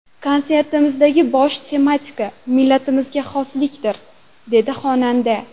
Konsertimdagi bosh tematika – millatimizga xoslikdir!”, dedi xonanda.